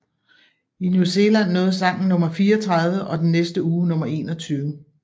I New Zealand nåede sangen nummer 34 og den næste uge nummer 21